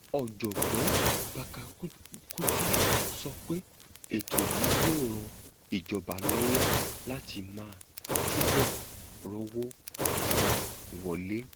ọjọgbọn babakutu sọ pé ètò yìí yóò ran ìjọba lọwọ láti máa túbọ rówó pa wọlé